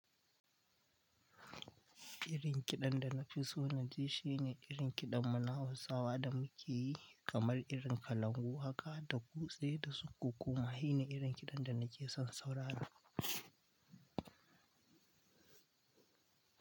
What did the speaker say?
Irin kiɗan da na fi so naji shine irin kiɗan mu na hausawa da mu ke yi kamar iri. Kalangu haka da kutse da su ƙuƙuma, sube iri. Ƙidan da na ke son saurara.